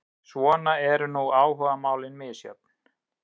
Svona eru nú áhugamálin misjöfn.